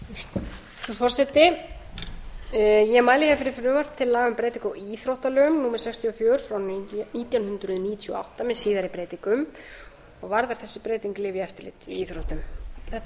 frú forseti ég mæli hér fyrir frumvarpi til laga um breytingu á íþróttalögum númer sextíu og fjögur nítján hundruð níutíu og átta með síðari breytingum og varðar þessi breyting lyfjaeftirlit í íþróttum þetta